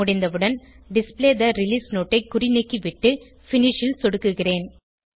முடிந்தவுடன் display the release note ஐ குறிநீக்கிவிட்டு பினிஷ் ல் சொடுக்குகிறேன்